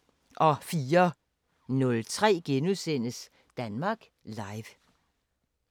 04:03: Danmark Live *